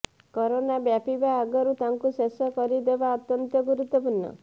corona ବ୍ୟାପିବା ଆଗରୁ ତାକୁ ଶେଷ କରିଦେବା ଅତ୍ୟନ୍ତ ଗୁରୁତ୍ବପୂର୍ଣ୍ଣ